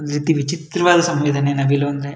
ಒಂದ್ ರೀತಿ ವಿಚಿತ್ರವಾದ ಸಂವೇದನೆ ನವಿಲು ಅಂದ್ರೆ.